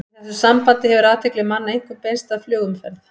Í þessu sambandi hefur athygli manna einkum beinst að flugumferð.